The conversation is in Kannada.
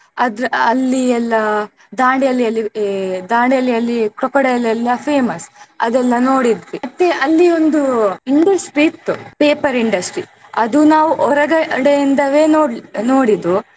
ಅದ್ರ ಅಲ್ಲಿ ಎಲ್ಲ ದಾಂಡೇಲಿಯಲ್ಲಿ ದಾಂಡೇಲಿಯಲ್ಲಿ crocodile ಎಲ್ಲ famous ಅದೆಲ್ಲಾ ನೋಡಿದ್ವಿ ಮತ್ತೆ ಅಲ್ಲಿ ಒಂದು industry ಇತ್ತು paper industry ಅದು ನಾವ್ ಹೊರಗಡೆ ಇಂದವೆ ನೋಡ್~ ನೋಡಿದ್ದು.